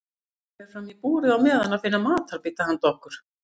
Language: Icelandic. Ég fer fram í búrið á meðan að finna matarbita handa okkur.